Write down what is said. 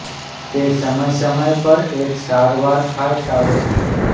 તે સમય સમય પર એક સારવાર ખાય સારો છે